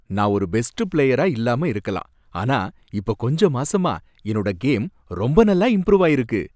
நான் ஒரு பெஸ்ட் பிளேயரா இல்லாம இருக்கலாம், ஆனா இப்ப கொஞ்ச மாசமா என்னோட கேம் ரொம்ப நல்லா இம்ப்ரூவ் ஆயிருக்கு.